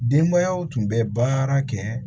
Denbayaw tun bɛ baara kɛ